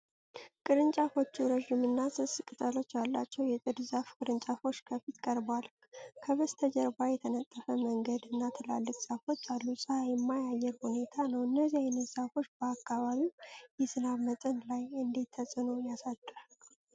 ቅርንጫፎቹ ረዥምና ስስ ቅጠሎች ያሏቸው የጥድ ዛፍ ቅርንጫፎች ከፊት ቀርበዋል። ከበስተጀርባ የተነጠፈ መንገድ እና ትላልቅ ዛፎች አሉ። ፀሐይማ የአየር ሁኔታ ነው። እነዚህ አይነቶች ዛፎች በአካባቢው የዝናብ መጠን ላይ እንዴት ተጽዕኖ ያሳድራሉ?